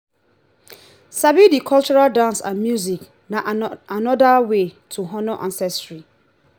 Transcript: sabi the cultural dance and music na another way to honor ancestry